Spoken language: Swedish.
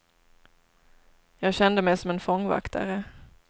Jag kände mig som en fångvaktare.